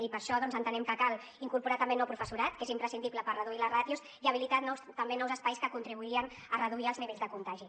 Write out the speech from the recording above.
i per això doncs entenem que cal incorporar també nou professorat que és imprescindible per reduir les ràtios i habilitar també nous espais que contribuirien a reduir els nivells de contagi